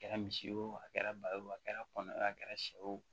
Kɛra misi a kɛra ba ye wo a kɛra kɔnɔ ye a kɛra sɛw ye o